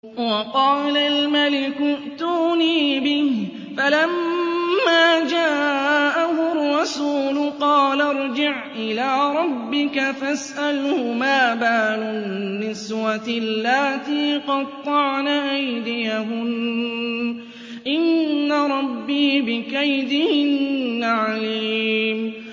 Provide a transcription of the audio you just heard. وَقَالَ الْمَلِكُ ائْتُونِي بِهِ ۖ فَلَمَّا جَاءَهُ الرَّسُولُ قَالَ ارْجِعْ إِلَىٰ رَبِّكَ فَاسْأَلْهُ مَا بَالُ النِّسْوَةِ اللَّاتِي قَطَّعْنَ أَيْدِيَهُنَّ ۚ إِنَّ رَبِّي بِكَيْدِهِنَّ عَلِيمٌ